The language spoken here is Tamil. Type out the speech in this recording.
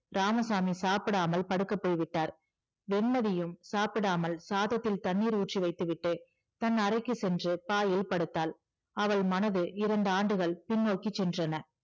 இராமசாமி சாப்பிடாமல் படுக்கப் போய்விட்டார் வெண்மதியும் சாப்பிடாமல் சாதத்தில் தண்ணீர் ஊற்றி வைத்துவிட்டு தன் அறைக்கு சென்று பாயில் படுத்தாள் அவள் மனது இரண்டு ஆண்டுகள் பின்னோக்கிச் சென்றன